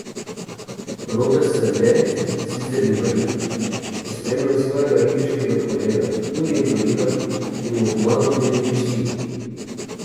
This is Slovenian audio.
Robert Strle, sicer invalid, je spremljal svojega ribiškega kolega, tudi invalida, in mu pomagal pri ribičiji.